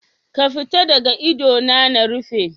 Ka fita daga idona na rufe.